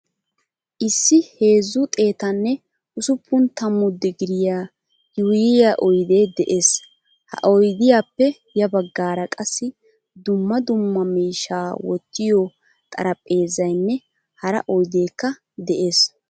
Issi heezzu xeettane usuppun tammu digiriyaa yuuyiyaa oyde de'ees. Ha oydiyaappe ya baggara qassi dumma dumma miishsha wottiyo xaraphpheezzaynne hara oyddekka de'ees.